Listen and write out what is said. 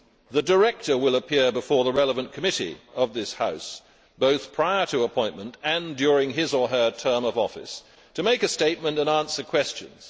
The director will appear before the relevant committee of this House, both prior to appointment and during his or her term of office, to make a statement and answer questions.